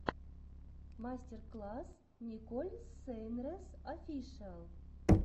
мастер класс николь сейнрэс офишиал